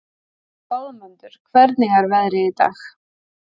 Goðmundur, hvernig er veðrið í dag?